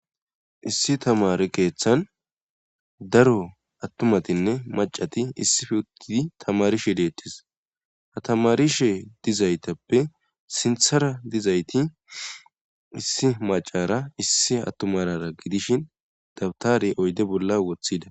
Issi tamare keeththan daro attumatinne macati issife uttidi tamarishe deettis ha tamarishe dizaytappe sinthara dizayti issi macara issi attumarara gidishin dabtare oyde bolla wothida.